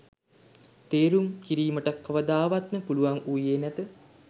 තේරැම් කිරීමට කවදාවත්ම පුළුවන් වුයේ නැත